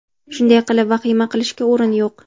Shunday qilib, vahima qilishga o‘rin yo‘q.